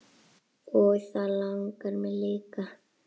Og það langar mig líka.